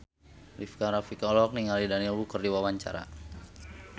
Rika Rafika olohok ningali Daniel Wu keur diwawancara